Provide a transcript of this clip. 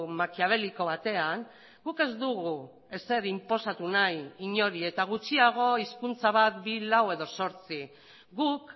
makiaveliko batean guk ez dugu ezer inposatu nahi inori eta gutxiago hizkuntza bat bi lau edo zortzi guk